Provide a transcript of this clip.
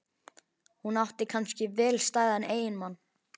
Hún átti kannski vel stæðan eiginmann.